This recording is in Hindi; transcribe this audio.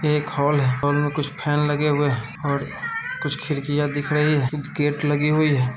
एक हॉल है हाल में कुछ फैन लगे हुए हैं कुछ खिड़कियां दिख रही हैं गेट लगी हुई है।